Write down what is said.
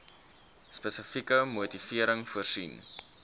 spesifieke motivering voorsien